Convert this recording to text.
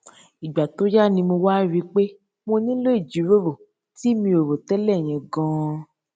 ìgbà tó yá ni mo wá rí i pé mo nílò ìjíròrò tí mi ò rò télè yẹn ganan